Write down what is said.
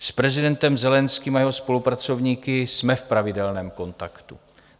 S prezidentem Zelenským a jeho spolupracovníky jsme v pravidelném kontaktu.